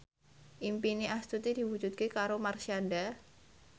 impine Astuti diwujudke karo Marshanda